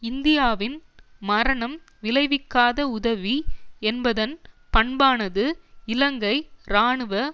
இந்தியாவின் மரணம் விளைவிக்காத உதவி என்பதன் பண்பானது இலங்கை இராணுவ